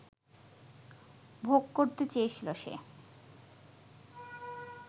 ভোগ করতে চেয়েছিল সে